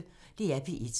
DR P1